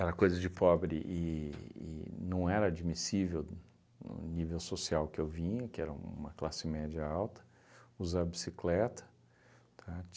Era coisa de pobre e e não era admissível no nível social que eu vinha, que era uma classe média alta, usar bicicleta, tá?